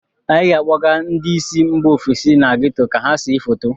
Anyị ga - akpọga ndị si mba ofesi na geto ka ha see foto.